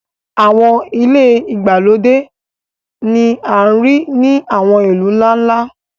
àwọn ile igbalode ni a rii ni àwọn ilu nla-nla.